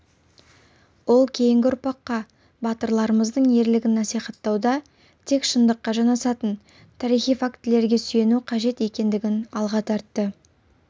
ол кейінгі ұрпаққа батырларымыздың ерлігін насихаттауда тек шындыққа жанасатын тарихи фактілерге сүйену қажет екендігін алға тартты